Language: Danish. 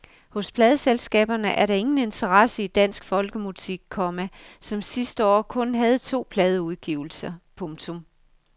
Hos pladeselskaberne er der ingen interesse i dansk folkemusik, komma som sidste år kun havde to pladeudgivelser. punktum